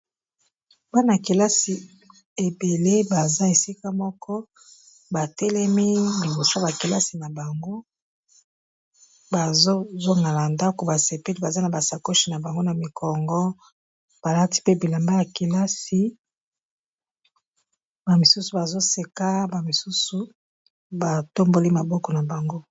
Bana ya kelasi ebele baza esika moko batelemi liboso ya bakelasi na bango, bazozongala ndako basepele baza na basacoshe na bango na mikongo, balati pe bilamba yakelasi bamisusu bazoseka bamisusu batomboli maboko na bango.